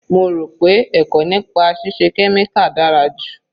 Mo rò pé ẹ̀kọ́ nípa ṣíṣe kẹ́míkà dára ju.